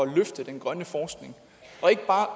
løfte den grønne forskning og ikke bare